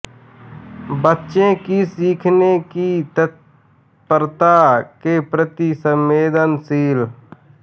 बच्चों की सीखने की तत्परता के प्रति संवदेनशीलता